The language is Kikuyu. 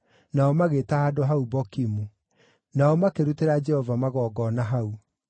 nao magĩĩta handũ hau Bokimu. Nao makĩrutĩra Jehova magongona hau.